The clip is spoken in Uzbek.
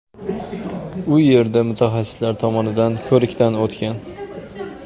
U yerda mutaxassislar tomonidan ko‘rikdan o‘tgan.